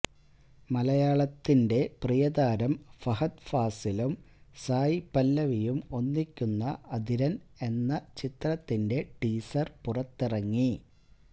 മലയാളത്തിന്റെ പ്രിയതാരം ഫഹദ് ഫാസിലും സായ് പല്ലവിയും ഒന്നിക്കുന്ന അതിരൻ എന്ന ചിത്രത്തിന്റെ ടീസർ പുറത്തിറങ്ങി